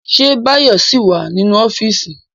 Ṣé Báyọ̀ ṣì wà nínú ọ́fíìsì?